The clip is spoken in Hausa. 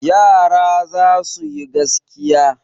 Yara za su yi gaskiya.